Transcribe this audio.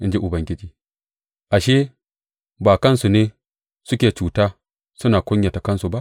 In ji Ubangiji Ashe, ba kansu ne suke cuta, suna kunyata kansu ba?